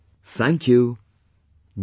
Thank you, Namaskar